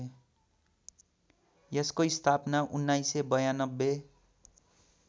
यसको स्थापना १९९२